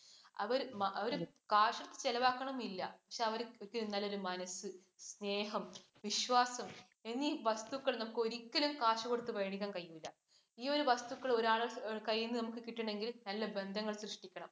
അവര്‍ അവര് കാശ് ചെലവാക്കണം എന്നില്ല. പക്ഷെ അവര് ചുറ്റി നിന്നാൽ ഒരു മനസ്സ്, സ്നേഹം, വിശ്വാസം എന്നീ വസ്തുക്കൾ നമുക്ക് ഒരിക്കലും കാശ് കൊടുത്ത മേടിക്കാൻ കഴിയില്ല. ഈ ഒരു വസ്തുക്കൾ നമുക്ക് ഒരാളുടെ കൈൽ നിന്ന് കിട്ടണമെങ്കിൽ നല്ല ബന്ധങ്ങൾ സൃഷ്ടിക്കണം.